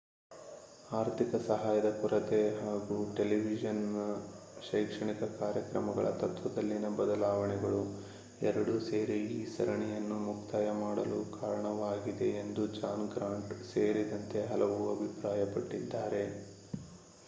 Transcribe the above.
ಆರ್ಥಿಕ ಸಹಾಯದ ಕೊರತೆ ಹಾಗೂ ಟೆಲಿವಿಷನ್ ನ ಶೈಕ್ಷಣಿಕ ಕಾರ್ಯಕ್ರಮಗಳ ತತ್ತ್ವದಲ್ಲಿನ ಬದಲಾವಣೆಗಳು ಎರಡೂ ಸೇರಿ ಈ ಸರಣಿಯನ್ನು ಮುಕ್ತಾಯ ಮಾಡಲು ಕಾರಣವಾಗಿದೆ ಎಂದು ಜಾನ್ ಗ್ರಾಂಟ್ ಸೇರಿದಂತೆ ಹಲವರು ಅಭಿಪ್ರಾಯ ಪಟ್ಟಿದ್ದಾರೆ